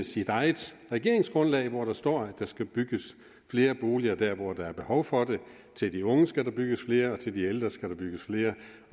sit eget regeringsgrundlag hvori der står at der skal bygges flere boliger hvor der er behov for det til de unge skal der bygges flere og til de ældre skal der bygges flere